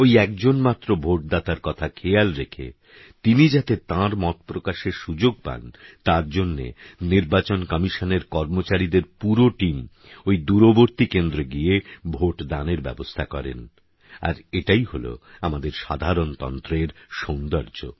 ওই একজন মাত্র ভোটদাতার কথা খেয়াল রেখে তিনি যাতে তাঁর মত প্রকাশের সুযোগ পান তার জন্যে নির্বাচন কমিশনের কর্মচারীদের পুরো টিম ওই দূরবর্তী কেন্দ্রে গিয়ে ভোটদানের ব্যবস্থা করেন আর এটাই হল আমাদের সাধারণতন্ত্রের সৌন্দর্য